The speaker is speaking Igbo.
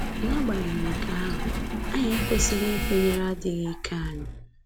N’agbanyeghị nke ahụ, anyị ekwesịghị ikwenyere adịghị ike anyị